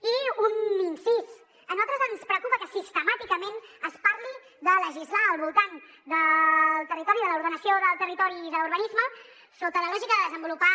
i un incís a nosaltres ens preocupa que sistemàticament es parli de legislar al voltant del territori de l’ordenació del territori i d’urbanisme sota la lògica de desenvolupar